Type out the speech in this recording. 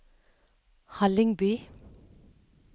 Hallingby